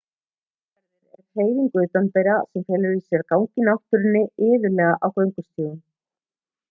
gönguferðir eru hreyfing utandyra sem felur í sér að ganga í náttúrunni iðulega á göngustígum